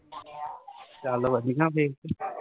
ਚੱਲ ਵਧੀਆ ਫੇਰ ਕੀ